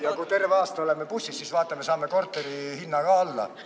Ja kui terve aasta oleme bussis, siis saame korterite küttetasud ka alla.